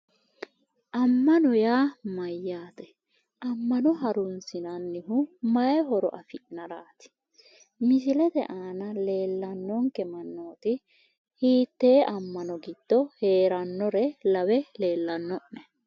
Ammano yaa mayyaate? Ammano harunsinannihu mayi horo afi'naraati? Misilete aana leellannonke mannooti hiittee ammano giddo heerannore lawe leellanno'ne?